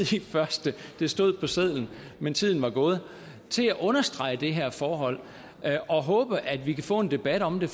i første det stod på sedlen men tiden var gået til at understrege det her forhold og håbe at vi kan få en debat om det